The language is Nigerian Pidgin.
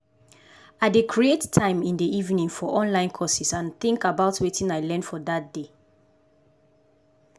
i dey create time in de evening for online courses and think about wetin i learn for dat day